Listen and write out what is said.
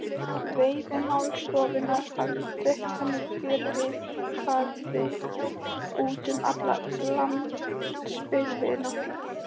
Veiðimálastofnunin hafði dreift henni fjölritaðri út um alla landsbyggðina.